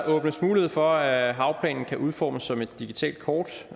åbnes mulighed for at havplanen kan udformes som et digitalt kort